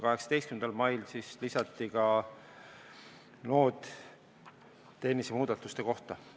18. mail siis lisati ka noot tehniliste muudatuste kohta.